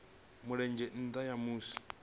mulenzhe nga nnda ha musi